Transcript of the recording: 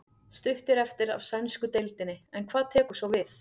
Stutt er eftir af sænsku deildinni en hvað tekur svo við?